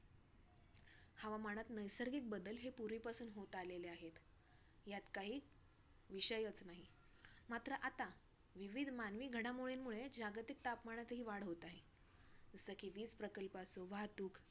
हवामानात नैसर्गिक बदल हे पूर्वीपासून होत आलेले आहेत. ह्यात काही विषयच नाही, मात्र आता विविध मानवी घडामोडींमुळे जागतिक तापमनातील वाढ होत आहे. जसं की वीज प्रकियेपासून वाहतूक